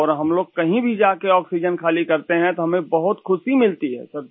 और हम लोग कहीं भी जा के आक्सीजेन खाली करते हैं तो हमें बहुत ख़ुशी मिलती है सर